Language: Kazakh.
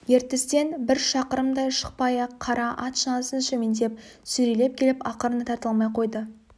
ертістен бір шақырымдай шықпай-ақ қара ат шанасын шөмендеп сүйрелеп келіп ақырында тарта алмай қойды